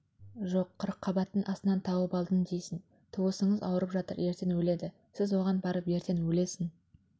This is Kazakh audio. жоқ қырыққабаттың астынан тауып алдым дейсің туысыңыз ауырып жатыр ертең өледі сіз оған барып ертең өлесің